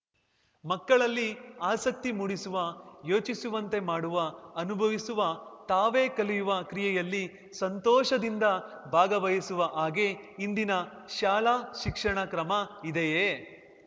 ಮಕ್ಕಳಲ್ಲಿ ಆಸಕ್ತಿ ಮೂಡಿಸುವ ಯೋಚಿಸುವಂತೆ ಮಾಡುವ ಅನುಭವಿಸುವ ತಾವೇ ಕಲಿಯುವ ಕ್ರಿಯೆಯಲ್ಲಿ ಸಂತೋಷದಿಂದ ಭಾಗವಹಿಸುವ ಹಾಗೆ ಇಂದಿನ ಶಾಲಾ ಶಿಕ್ಷಣ ಕ್ರಮ ಇದೆಯೇ